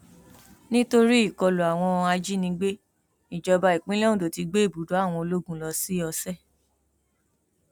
nítorí ìkọlù àwọn ajajínigbé ìjọba ìpínlẹ ondo ti gbé ibùdó àwọn ológun lọ sí ọsẹ